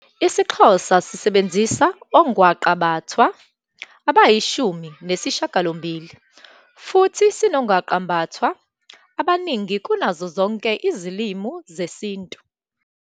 IsiXhosa sisebenzisa ongwaqabathwa abayishumi nesishiyagalombili futhi sinongwaqabathwa abaningi kunazo zonke izilimi zesiNtu.